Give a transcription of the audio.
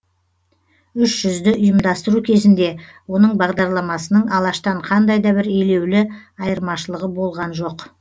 үш жүзді ұйымдастыру кезінде оның бағдарламасының алаштан қандай да бір елеулі айырмашылығы болған жоқ